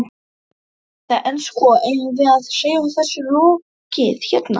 Edda: En, sko, eigum við að segja þessu lokið hérna?